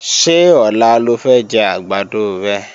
Ṣé ọ̀la lo fẹ́ jẹ́ àgbàdo rẹ?